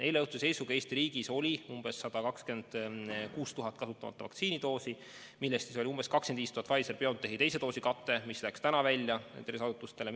Eileõhtuse seisuga Eesti riigis oli umbes 126 000 kasutamata vaktsiinidoosi, millest oli umbes 25 000 Pfizer/BioNTechi teise doosi kate, mis läks täna välja tervishoiuasutustele.